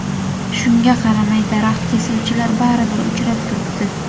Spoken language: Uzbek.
Shunga qaramay daraxt kesuvchilar baribir uchrab turibdi.